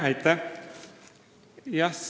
Aitäh!